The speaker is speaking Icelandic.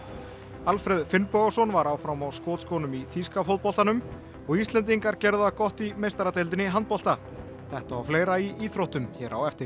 Alfreð Finnbogason var áfram á skotskónum í þýska fótboltanum og Íslendingar gerðu það gott í meistaradeildinni í handbolta þetta og fleira í íþróttum hér á eftir